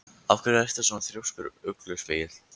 Af hverju ertu svona þrjóskur, Ugluspegill?